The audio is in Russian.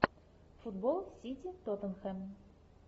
футбол сити тоттенхэм